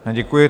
Děkuji.